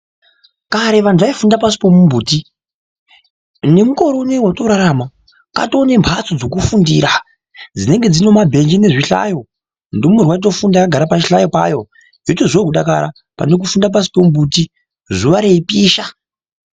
Kare wandu waifunda pasi pemumbuti, nemukore unewu wetinorarama, patowe nembatso dzekufundira, dzinenge dzine mabhenji nezvihlayo, ndumurwa otofunda akagara pachihlayo payo, zvotozwawo kudakara pane kufunda pashi pemumbuti zuwa reipisha.